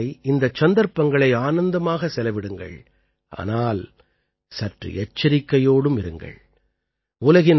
நீங்கள் திருநாட்களை இந்தச் சந்தர்ப்பங்களை ஆனந்தமாக செலவிடுங்கள் ஆனால் சற்று எச்சரிக்கையோடும் இருங்கள்